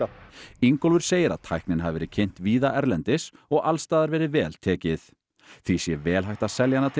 Ingólfur segir að tæknin hafi verið kynnt víða erlendis og alls staðar verið vel tekið því sé vel hægt að selja hana til